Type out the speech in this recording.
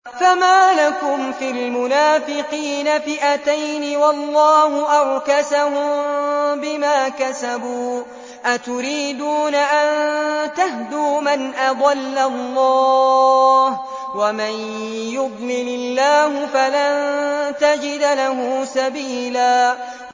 ۞ فَمَا لَكُمْ فِي الْمُنَافِقِينَ فِئَتَيْنِ وَاللَّهُ أَرْكَسَهُم بِمَا كَسَبُوا ۚ أَتُرِيدُونَ أَن تَهْدُوا مَنْ أَضَلَّ اللَّهُ ۖ وَمَن يُضْلِلِ اللَّهُ فَلَن تَجِدَ لَهُ سَبِيلًا